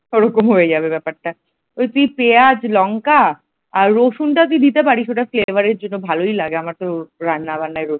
ওরকম হয়ে যাবে ব্যাপারটা তুই পেঁয়াজ লঙ্কা রসুনটা তুই দিতে পারিস । ওটা flavour র জন্য ভালই লাগে আমার তো রান্না বান্নাই রসুন।